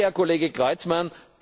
Danke, Herr Kollege Creutzmann!